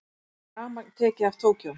Rafmagn tekið af Tókýó